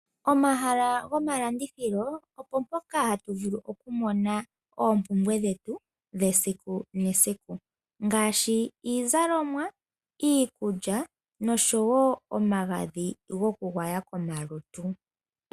Pomahala gomalandithilo opo mpoka hatu vulu okumona oompumbwe dhetu dhesiku nesiku ngaashi iizalomwa, iikulya noshowoo omagadhi gokugwaya komalutu.